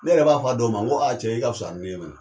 Ne yɛrɛ b'a fɔ a dɔw ma nko cɛ e ka wusa ni ne ye mɛnɛ.